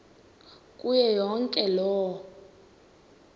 kuyo yonke loo